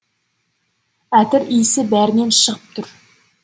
әтір иісі бәрінен шығып тұр